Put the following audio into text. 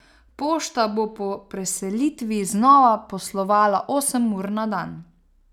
Pošta bo po preselitvi znova poslovala osem ur na dan.